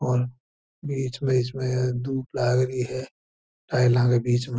और बिच में बिच में दुब लागरी है टाइला के बिच में --